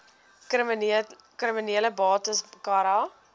kriminele bates cara